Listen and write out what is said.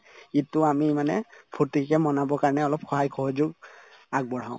ঈদতো আমি মানে ফূৰ্তিকে manav ৰ কাৰণে অলপ সহায় সহযোগ আগবঢ়াও